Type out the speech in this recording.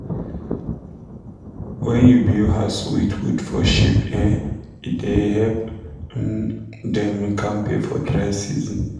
when you build house with wood for sheep e da help um dem da kampe for dry season